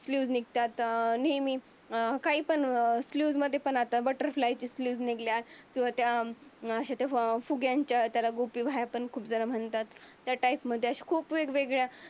Fuse निघतात अं नेहमी अं काही पण अं फ्यूज मध्ये पण आल. बटरफ्लाय फ्यूज निघले. आन त्या फुग्यांच्या त्याला गुबी बाह्या त्याला खूप झण त्या टाईप मध्ये खूप अशा वेगवेगळ्या